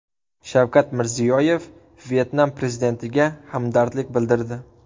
Shavkat Mirziyoyev Vyetnam prezidentiga hamdardlik bildirdi.